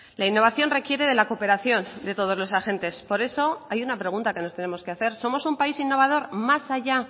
la innovación requiere de la cooperación de todos los agentes por eso hay una pregunta que nos tenemos que hacer somos un país innovador más allá